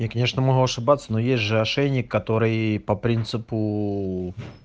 я конечно могу ошибаться но есть же ошейник который по принципу